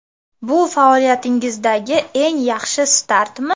Bu faoliyatingizdagi eng yaxshi startmi?